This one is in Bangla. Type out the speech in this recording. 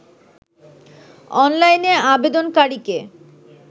অনলাইনে আবেদনকারীকে